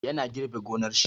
Ya na girbe gonar shi.